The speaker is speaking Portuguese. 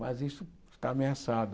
Mas isso está ameaçado.